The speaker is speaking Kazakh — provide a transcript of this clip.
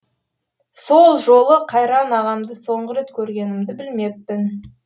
сол жолы қайран ағамды соңғы рет көргенімді білмеппін